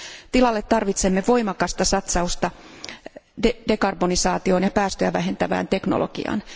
Tilalle tarvitsemme voimakasta satsausta dekarbonisaatioon ja päästöjä vähentävään teknologiaan.